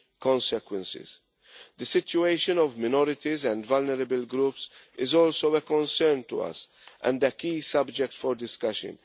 consequences. The situation of minorities and vulnerable groups is also a concern to us, and a key subject for discussion.